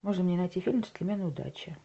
можно мне найти фильм джентльмены удачи